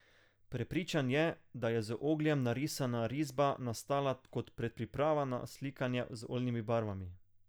Prepričan je, da je z ogljem narisana risba nastala kot predpriprava na slikanje z oljnimi barvami.